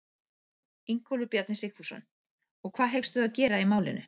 Ingólfur Bjarni Sigfússon: Og hvað hyggstu þá gera í málinu?